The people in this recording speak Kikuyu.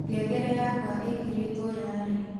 ngengere yakwa ĩkĩrĩtwo ya rii